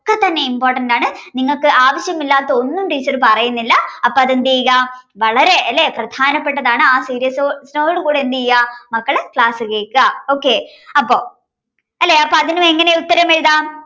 തന്നെ important ആണ് നിങ്ങൾക്ക് ആവശ്യമില്ലാത്ത ഒന്നും teacher പറയുന്നില്ല അപ്പോ അത് എന്തെയ്യുക വളരെ അല്ലേ പ്രധാനപ്പെട്ടതാണ്. ആ serious seriousness ഓടുകൂടി എന്തയ്യാ മക്കള് class കേൾക്കാ okay അപ്പോ അല്ലേ അപ്പൊ അതിനും എങ്ങനെ ഉത്തരം എഴുതാം